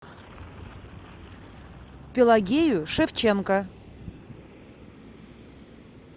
пелагею шевченко